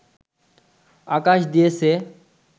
আকাশ দিয়েছে